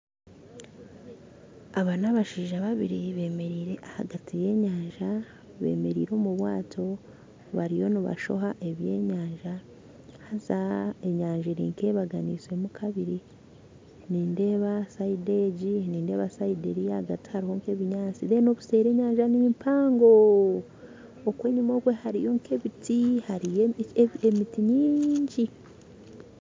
Aba nabashaija babiri bemerire ahagati ya enyanja bemeriire omu bwato bariyo nibashoha eby'enyanja haza enyanja eri nk'eyebaganisemu kabiri nindeeba sayidi egi nindeeba sayidi eri ahagati hariho nk'ebinyatsi reero obuseeri enyanja nimpango oku enyuma oku hariyo nk'ebiti hariyo emiti nyingyi